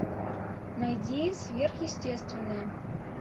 найди сверхъестественное